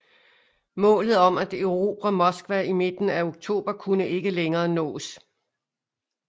Målet om at erobre Moskva i midten af oktober kunne ikke længere nås